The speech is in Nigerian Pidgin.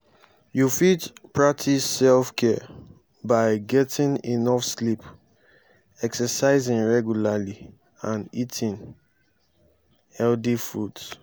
you fit practice self-care by getting enough sleep exercising regularly and eating healthy foods.